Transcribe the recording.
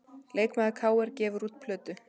Leikmaður KR gefur út plötu